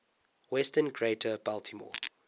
western greater baltimore